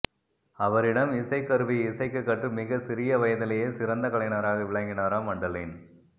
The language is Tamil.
அவரிடம் இசைக் கருவியை இசைக்கக் கற்று மிகச் சிறிய வயதிலேயே சிறந்த கலைஞராக விளங்கினார மண்டலின்